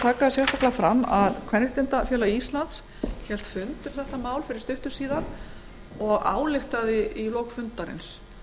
sérstaklega fram að kvenréttindafélag íslands hélt fund um málið fyrir stuttu síðan það ályktaði í lok fundarins